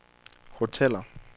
hoteller